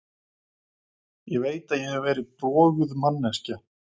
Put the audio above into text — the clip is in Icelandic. Ég veit að ég hef verið broguð manneskja.